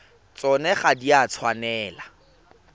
tsona ga di a tshwanela